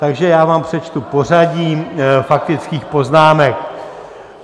Takže já vám přečtu pořadí faktických poznámek.